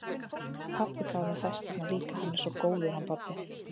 Pabbi gaf mér festarnar líka, hann er svo góður, hann pabbi.